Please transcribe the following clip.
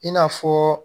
I n'a fɔ